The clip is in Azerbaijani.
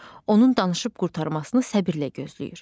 Onun danışıb qurtarmasını səbrlə gözləyir.